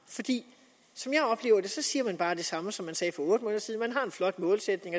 som jeg oplever det siger man bare det samme som man sagde for otte måneder siden man har en flot målsætning